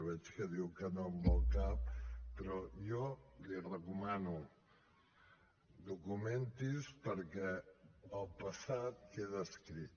veig que diu que no amb el cap però jo li ho recomano documenti’s perquè el passat queda escrit